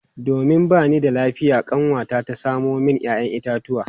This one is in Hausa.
Domin ba ni da lafiya kanwata ta samo min 'ya'yan itatuwa.